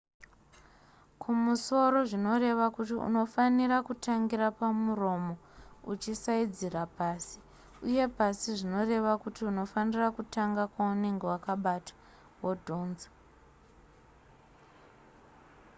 kumusoro zvinoreva kuti unofanira kutangira pamuromo uchisaidzira pasi uye pasi zvinoreva kuti unofanira kutangira kwaunenge wakabata wodhonza